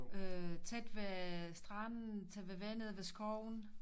Øh tæt ved stranden tæt ved vandet ved skoven